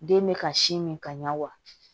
Den bɛ ka sin min ka ɲa wa